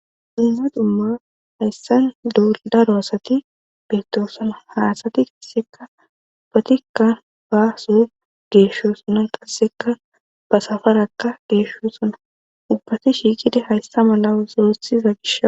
dinza dumma hayssan dooldaro asati beettosona haasati qasseka ubbatikka baaso geeshshosona qasseka basafarakka geeshsho sona ubbati shiiqida hayssa mala soothiza gish